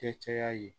Kɛ caya ye